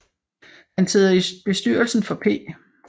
Han sidder i bestyrelsen for P